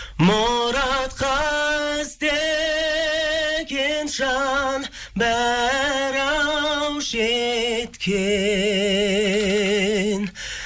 мұратқа іздеген жан бәрі ау жеткен